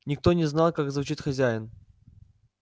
никто не знал как звучит хозяин